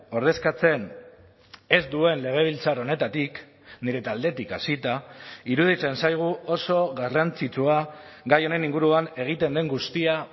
ordezkatzen ez duen legebiltzar honetatik nire taldetik hasita iruditzen zaigu oso garrantzitsua gai honen inguruan egiten den guztia